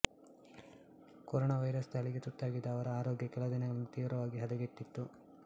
corona ವೈರಾಣು ದಾಳಿಗೆ ತುತ್ತಾಗಿದ್ದ ಅವರ ಆರೋಗ್ಯ ಕೆಲದಿನಗಳಿಂದ ತೀವ್ರವಾಗಿ ಹದಗೆಟ್ಟಿತ್ತು